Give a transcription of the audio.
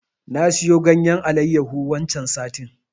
Na siyo ganyen Alayyahu waccen satin.